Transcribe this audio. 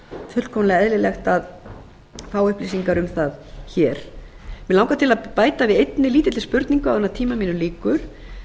fullkomlega eðlilegt að fá upplýsingar um það hér mig langar til að bæta við einni lítilli spurningu áður en tíma mínum lýkur